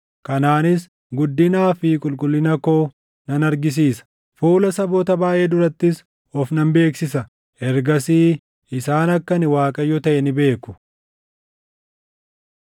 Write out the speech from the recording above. Kanaanis guddinaa fi qulqullina koo nan argisiisa; fuula saboota baayʼee durattis of nan beeksisa; ergasii isaan akka ani Waaqayyo taʼe ni beeku.’